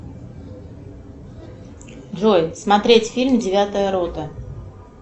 джой смотреть фильм девятая рота